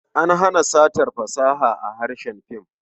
An hana satar fasaha a harkar fim.